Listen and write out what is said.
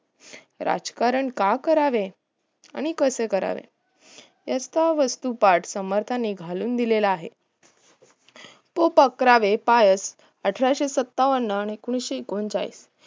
राजकारण का करावे आणि कसं करावे याचा वस्तु पाठ समर्थाने घालून दिला आहे कोप अकरावे पायस अठराशे सत्तावन आणि एकोणीशे एकोणचाळीस